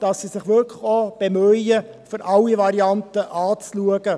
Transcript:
Sie bemühen sich wirklich, alle Varianten anzuschauen.